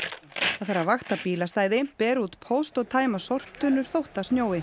það þarf að vakta bílastæði bera út póst og tæma sorptunnur þótt það snjói